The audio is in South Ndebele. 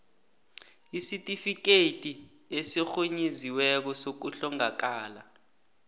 isitifikhethi esirhunyeziweko sokuhlongakala